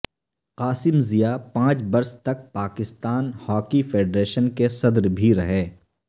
قاسم ضیا پانچ برس تک پاکستان ہاکی فیڈریشن کے صدر بھی رہے